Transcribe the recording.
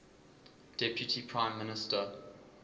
deputy prime minister